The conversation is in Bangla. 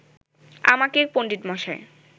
আমাকে পণ্ডিতমশাই